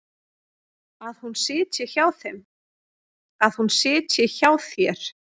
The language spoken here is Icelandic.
Að hún sitji hjá þér?